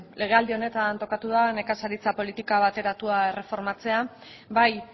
legealdi honetan tokatu da nekazaritza politika bateratua erreformatzea bai